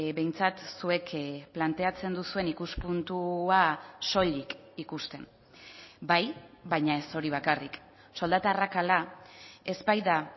behintzat zuek planteatzen duzuen ikuspuntua soilik ikusten bai baina ez hori bakarrik soldata arrakala ez baita